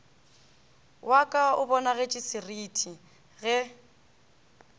wa ka o bonagetšesereti ge